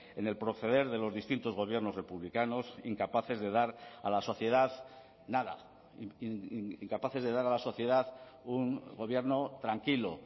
en el proceder de los distintos gobiernos republicanos incapaces de dar a la sociedad nada incapaces de dar a la sociedad un gobierno tranquilo